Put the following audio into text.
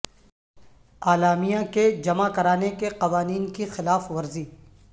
اعلامیہ کے جمع کرانے کے قوانین کی خلاف ورزی